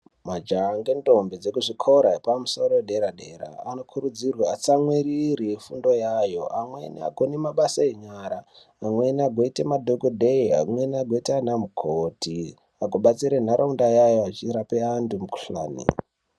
Majaha nendombi dzekuzvikora zvedera dera anokurudzirwa fundo yawo amweni mabasa enyara amweni agoita madhokodheya nana mukoti pakubatsira munharaunda vachipa vantu mukuhlani.